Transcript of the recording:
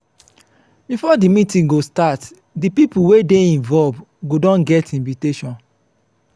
before di meeting go start di pipo wey dey involve go don get invitiation